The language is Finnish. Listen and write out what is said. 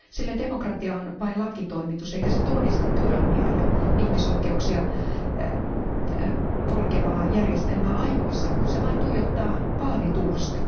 Sille demokratia on vain lakitoimitus, eikä se tunnista tyranniaa ja ihmisoikeuksia polkevaa järjestelmää ajoissa, kun se vain tuijottaa vaalitulosta.